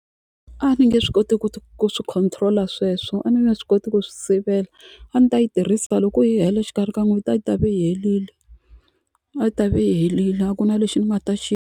Ni nge swi koti ku ku swi control-a sweswo a ni nge swi koti ku swi sivela a ni ta yi tirhisa loko yi hela exikarhi ka n'hweti a yi ta ve yi helile a yi ta va yi helile a ku na lexi ni nga ta xi.